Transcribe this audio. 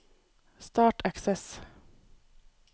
Start Access